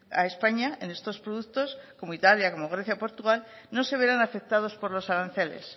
a españa en estos productos como italia como grecia o portugal no se verán afectados por los aranceles